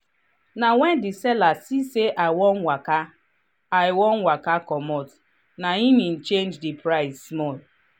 na when the seller see say i wan waka i wan waka comot na im he change the price small.